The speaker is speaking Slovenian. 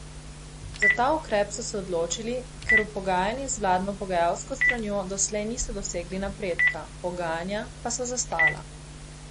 Za ta ukrep so se odločili, ker v pogajanjih z vladno pogajalsko stranjo doslej niso dosegli napredka, pogajanja pa so zastala.